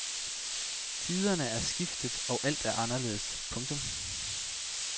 Tiderne er skiftet og alt er anderledes. punktum